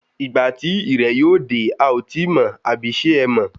Ìgbà tí irẹ̀ yóò dé ,a ó tíì mọ̀, abi ṣe ẹ mọ̀?